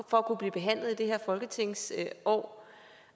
for at kunne blive behandlet i det her folketingsår og